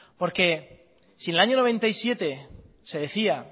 porque si en el año mil novecientos noventa y siete se decía